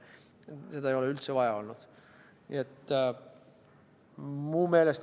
Seda ei ole üldse vaja olnud.